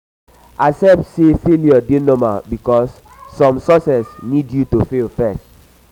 accept say failure dey normal bikos som success nid yu to fail first